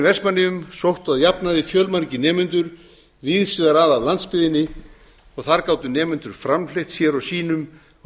vestmannaeyjum sóttu að jafnaði fjölmargir nemendur víðs vegar að af landsbyggðinni og þar gátu nemendur framfleytt sér og sínum á